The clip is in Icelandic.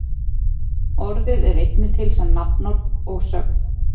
Orðið er einnig til sem nafnorð og sögn.